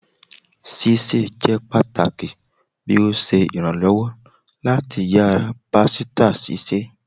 Sise jẹ pataki bi o ṣe iranlọwọ lati yara pasita sise